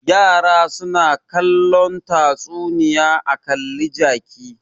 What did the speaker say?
Yara na kallon tatsuniya a kalli ka ji.